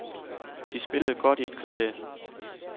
De spillede godt i et kvarter.